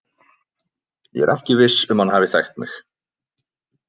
Ég er ekki viss um að hann hafi þekkt mig.